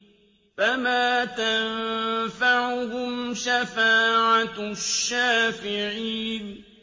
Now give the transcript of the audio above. فَمَا تَنفَعُهُمْ شَفَاعَةُ الشَّافِعِينَ